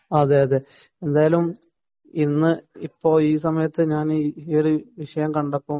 എന്തായാലും ഇന്ന് ഈ സമയത്തു ഞാൻ ഈയൊരു വിഷയം കണ്ടപ്പോൾ